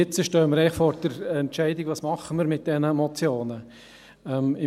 Nun stehen wir vor der Entscheidung, was wir mit diesen Motionen tun sollen.